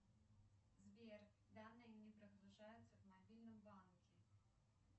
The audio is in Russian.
сбер данные не прогружаются в мобильном банке